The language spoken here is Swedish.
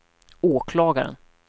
åklagaren